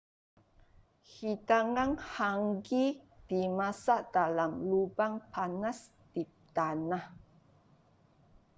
hidangan hangi dimasak dalam lubang panas di tanah